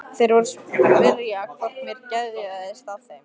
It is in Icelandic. Þeir voru að spyrja hvort mér geðjaðist að þeim.